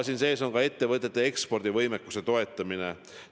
Siin sees on ka ettevõtete ekspordivõimekuse toetamine.